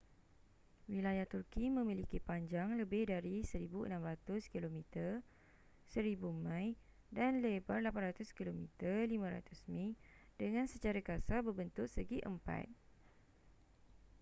wilayah turki memiliki panjang lebih dari 1,600 kilometer 1,000 mi dan lebar 800 km 500 mi dengan secara kasar berbentuk segi empat